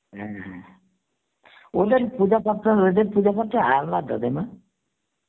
হ্যাঁ হ্যাঁ, ওদের পূজা পত্র, ওদের পূজা পত্র আলাদা তাই না?